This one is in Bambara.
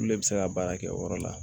Olu le bɛ se ka baara kɛ o yɔrɔ la